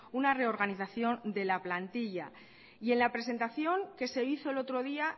una reorganización de la plantilla y en la presentación que se hizo el otro día